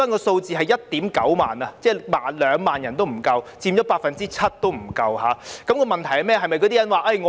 數字是 19,000 人，即不足2萬人，佔不足 7%， 問題在哪裏呢？